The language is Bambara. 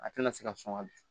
A tɛna se ka sɔn ka